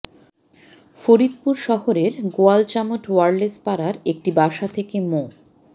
ফরিদপুর শহরের গোয়ালচামট ওয়্যারলেস পাড়ার একটি বাসা থেকে মো